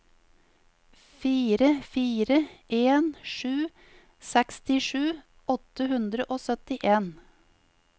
fire fire en sju sekstisju åtte hundre og syttien